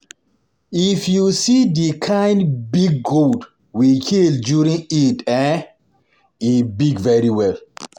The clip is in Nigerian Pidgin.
If you see the kin big goat we kill during Eid eh e big very well